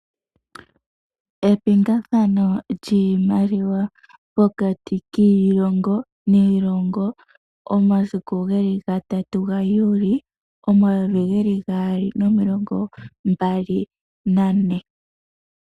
Epingakanitho lyiimaliwa pokati kiilongo niilongo omasiku geli gatatu gaJuli omayovi geli gaali nomilongo mbali nane.